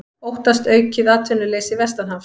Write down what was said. Óttast aukið atvinnuleysi vestanhafs